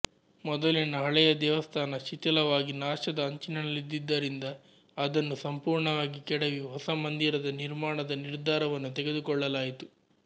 ಮೊದಲಿನ ಹಳೆಯ ದೇವಸ್ಥಾನ ಶಿಥಿಲವಾಗಿ ನಾಶದ ಅಂಚಿನಲ್ಲಿದ್ದಿದ್ದರಿಂದ ಅದನ್ನು ಸಂಪೂರ್ಣವಾಗಿ ಕೆಡವಿ ಹೊಸಮಂದಿರದ ನಿರ್ಮಾಣದ ನಿರ್ಧಾರವನ್ನು ತೆಗೆದುಕೊಳ್ಳಲಾಯಿತು